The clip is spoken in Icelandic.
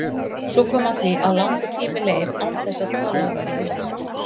Svo kom að því að langur tími leið án þess að talað væri við mig.